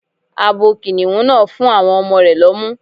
Abo Kìnnìún náà ń fún àwọn ọmọ rẹ̀ lọ́mú.